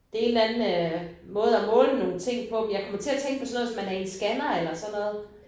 Det en eller anden øh måde at måle nogle ting på men jeg kom til at tænke på sådan noget hvis man er i en scanner eller sådan noget